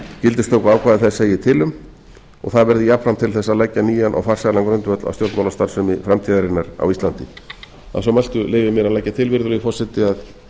gildistökuákvæði þess segir til um og það verði jafnframt til þess að leggja nýjan og farsælan grundvöll að stjórnmálastarfsemi framtíðarinnar á íslandi að svo mæltu leyfi ég mér að leggja til virðulegi forseti að